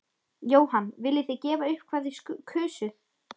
Jóhann: Viljið þið gefa upp hvað þið kusuð?